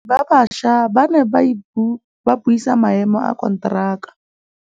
Badiri ba baša ba ne ba buisa maêmô a konteraka.